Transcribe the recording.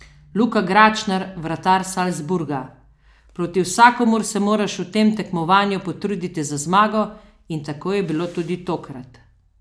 Luka Gračnar, vratar Salzburga: "Proti vsakomur se moraš v tem tekmovanju potruditi za zmago in tako je bilo tudi tokrat.